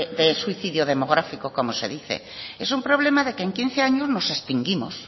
de suicidio demográfico como se dice es un problema de que en quince años nos extinguimos